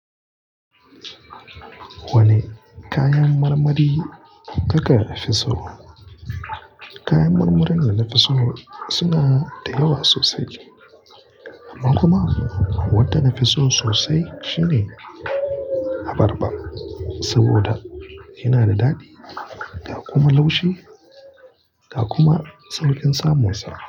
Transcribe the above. Wani kayan marmari kaka fiso? Kayan marmarin da na fi so suna da yawa sosai amma kuma wadda nafi so sosai shine abarba saboda yana da daɗi da kuma laushi da kuma sauƙin samunsa.